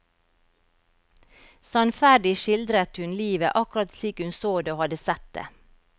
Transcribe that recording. Sannferdig skildret hun livet akkurat slik hun så det og hadde sett det.